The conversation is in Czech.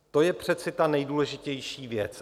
To je přece ta nejdůležitější věc.